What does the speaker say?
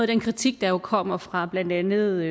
den kritik der jo kommer fra blandt andet